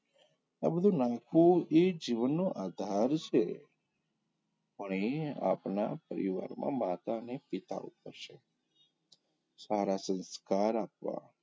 આ બધું નાખવું એ જીવનનો આધાર છે પણ એ આપણા પરિવારમાં માતા અને પિતા ઉપર છે સારા સંસ્કાર આપવાં,